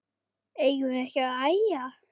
Eigum við ekki að æja?